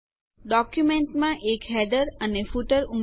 ડોક્યુંમેન્ટમાં એક હેડર અને ફૂટર ઉમેરો